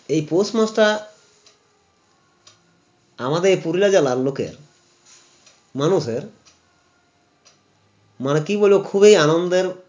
এই পৌষমাসটা আমাদের পুরুলিয়া জেলার লোকের মানুষের মারকি বলে খুবই আনন্দের